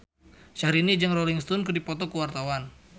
Syahrini jeung Rolling Stone keur dipoto ku wartawan